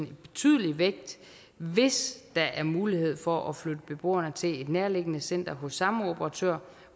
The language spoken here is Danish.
betydelig vægt hvis der er mulighed for at flytte beboerne til et nærliggende center hos samme operatør